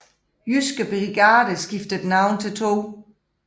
Jyske Brigade skiftede navn til 2